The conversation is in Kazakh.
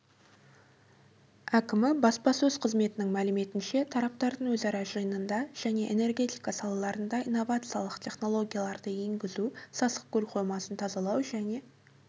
әкімі баспасөз қызметінің мәліметінше тараптардың өзара жиынында және энергетика салаларына инновациялық технологияларды енгізу сасықкөл қоймасын тазалау және